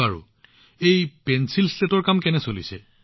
আচ্ছা পেঞ্চিলশ্লেটৰ কাম কেনে চলি আছে